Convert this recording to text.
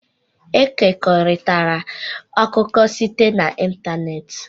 Ekekọrịtala akụkọ site n'ịntanetị.